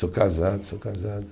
Sou casado, sou casado.